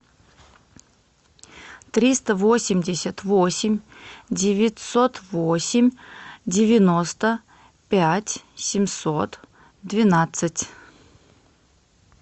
триста восемьдесят восемь девятьсот восемь девяносто пять семьсот двенадцать